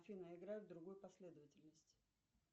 афина играй в другой последовательности